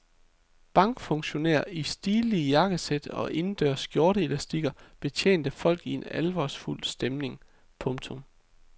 Bankfunktionærer i stilige jakkesæt og indendørs skjorteelastikker betjente folket i en alvorsfuld stemning. punktum